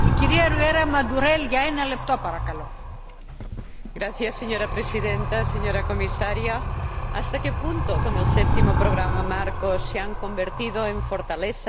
Señora Presidenta, señora Comisaria, ¿hasta qué punto, con el Séptimo Programa Marco, se han convertido en fortalezas las debilidades detectadas en nuestro sistema de ID?